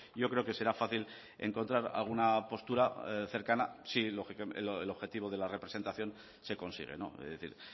yo creo que será fácil encontrar alguna postura cercana si el objetivo de la representación se consigue es decir